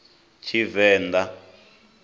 tshivenḓa